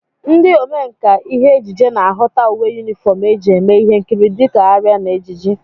Ndị omenkà ihe ejije na-ahụta uwe yunifọm e ji eme ihe nkiri dịka arịa na ejiji